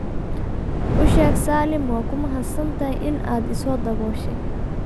u sheeg saalim waad ku mahadsantahay in aad i soo dabooshey